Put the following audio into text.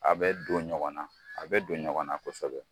A bɛ don ɲɔgɔn na, a bɛ don ɲɔgɔn na kosɛbɛ.